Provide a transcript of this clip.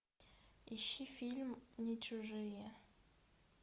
ищи фильм не чужие